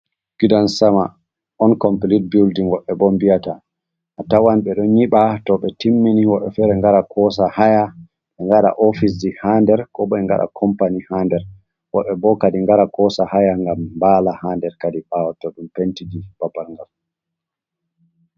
Gidan sama onkomplit buldin wodɓe bo nbiyata. A tawan ɓeɗo nyiɓa, to ɓe timmini woɗɓe fere ngara kosa haya ngaɗa office ji ha nder, kobo be ngaɗa kampani ha nder, woɗɓe kadi ngara kosa haya nbala ha nder kadi ɓawo to ɗum penti babal ngal.